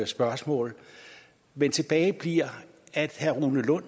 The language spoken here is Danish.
spørgsmål men tilbage bliver at herre rune lund